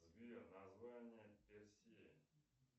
сбер название персеи